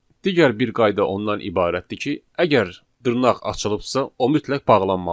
Digər bir qayda ondan ibarətdir ki, əgər dırnaq açılıbsa, o mütləq bağlanmalıdır.